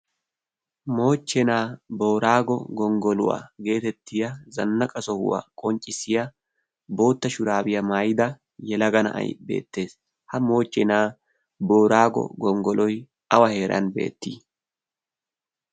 moochchenaa boraago gonggoluwaa geetettiya zannaqa sohuwaa qonccissiya bootta shuraabiyaa maayida yalaga na'ay beettees. ha moochchenaa boraago gonggoloi awa heeran beettii?